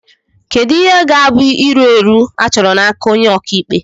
Kedu ihe ga-abụ iru èrù achọrọ n'aka onye ọka ikpe